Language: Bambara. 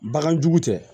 Bagan jugu tɛ